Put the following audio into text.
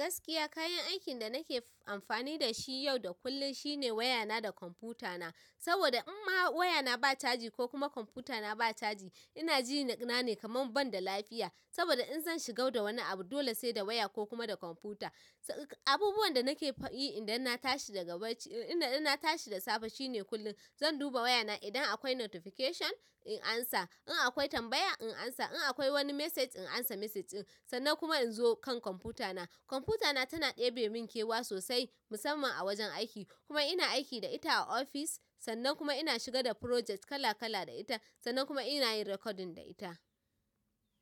Gaskiya kayan aikin da nake amfani da shi yau da kullum shine wayana da kwamfuta na saboda in ma wayana ba chaji ko kuma kwamfutana ba chaji ina jina ne kaman ban da lafiya. Saboda in zan shiga da wani abu dole sai da waya ko kuma da kwamfuta. Abubuwan da nake yi idan na tashi daga bacci, idan na tashi da safe shine kullum zan duba wayana idan akwai notification in amsa, in akwai tambaya in amsa, in akwai wani message in amsa message ɗin. Sannan kuma in zo kan kwamfutana. Kwamfutana tana ɗebe min kewa sosai musamman a wajen aiki. Kuma ina aiki da ita a ofis sannan kuma ina shiga da project kala kala da ita sannan kuma ina yin recording da ita.